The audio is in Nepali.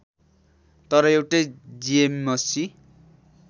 तर एउटा जीएमसी